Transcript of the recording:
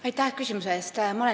Aitäh küsimuse eest!